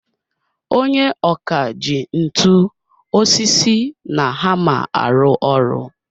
Onye ọkà ji ntu, osisi na hammer arụ ọrụ.